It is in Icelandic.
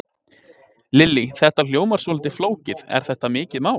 Lillý: Þetta hljómar svolítið flókið, er þetta mikið mál?